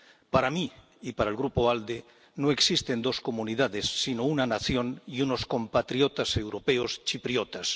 Para mí y para el Grupo ALDE, no existen dos comunidades, sino una nación y unos compatriotas europeos chipriotas.